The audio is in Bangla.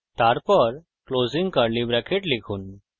তারপর closing curly bracket লিখুন }